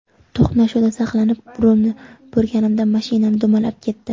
To‘qnashuvdan saqlanib, rulni burganimda mashinam dumalab ketdi.